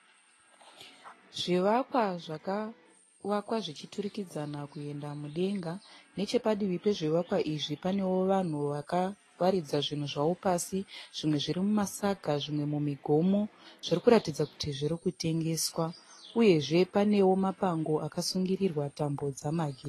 Zvivakwa zvakavakwa zvichiturikidzana kuenda mudenga. Nechepadivi pezvivakwa izvi, panewo vanhu vakawaridza zvinhu zvavo pasi. Zvimwe zvirimumasaga, zvimwe mumigomo. Zvirikuradza kuti zvirikutengeswa, Uyezve panewo mapango akasungirirwa tambo dzemagetsi.